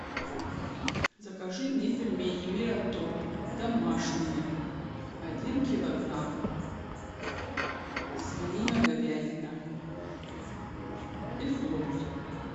закажи мне пельмени мираторг домашние один килограмм свинина говядина из глобуса